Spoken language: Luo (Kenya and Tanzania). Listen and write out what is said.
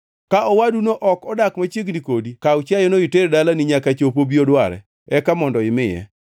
Ka owaduno ok odak machiegni kodi kaw chiayono iter dalani nyaka chop obi odware, eka mondo imiye.